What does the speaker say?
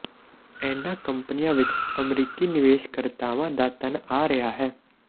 ਇਨ੍ਹਾਂ ਕੰਪਨੀਆਂ ਵਿਚ ਅਮਰੀਕੀ ਨਿਵੇਸ਼ਕਰਤਾਵਾਂ ਦਾ ਧਨ ਆ ਰਿਹਾ ਹੈ